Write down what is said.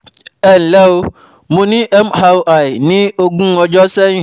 Ẹ ǹlẹ́ o, mo ní MRI ní ogún ọjọ́ sẹ́yìn